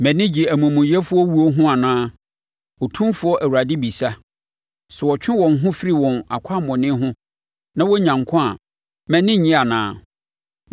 Mʼani gye amumuyɛfoɔ wuo ho anaa? Otumfoɔ Awurade bisa. Sɛ wɔtwe wɔn ho firi wɔn akwammɔne ho na wɔnya nkwa a, mʼani nnye anaa?